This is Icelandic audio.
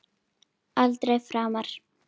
Aldrei framar.